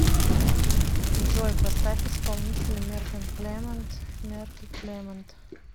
джой поставь исполнителя мерк энд кремонт мерк и кремонт